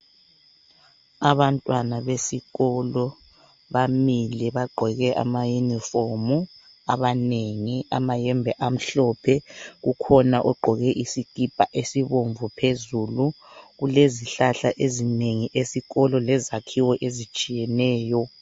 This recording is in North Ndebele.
Abantwana besikolo bamile bagqoke ama yunifomu. Abanengi amayembe amhlophe, kukhona ogqoke isikipa esibomvu phezulu. Kulezihlahla ezinengi esikolo lezakhiwo ezitshiyeneyo.